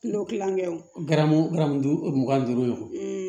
Kulo kilankɛ woramu duuru mugan ni duuru wo